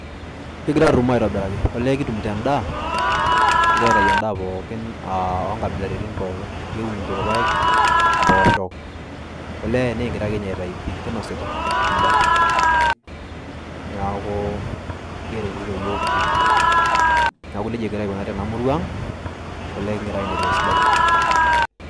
Kigira arrumoo aitobiraki. Olee kitumito endaa. Kigira aitayu endaa pookin, ah onkabilaritin pookin. Kiunito paek, mpoosho. Olee nikigira akenye aitayu pi. Kinosita endaa. Neeku keretito yiook pii. Neeku nejia egira aikunari tenamurua ang',olee kigira aendelea esidai.